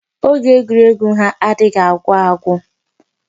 Oge egwuregwu ha adịghị agwụ agwụ.